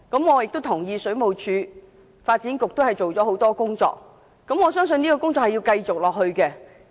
我也同意，水務署及發展局均已着手多項工作，相信這些工作仍會繼續。